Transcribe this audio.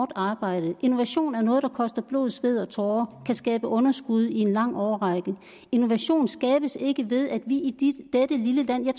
arbejde innovation er noget der koster blod sved og tårer og kan skabe underskud i en lang årrække innovation skabes ikke ved at vi i dette lille land har